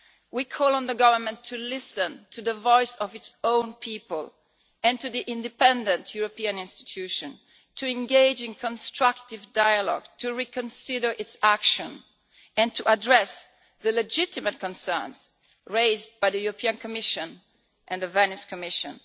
We call on the Government to listen to the voice of its own people and to the independent European institutions, to engage in constructive dialogue, to reconsider its action, and to address the legitimate concerns raised by the European Commission and the Venice Commission.